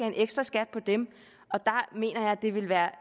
en ekstraskat på dem der mener jeg at det vil være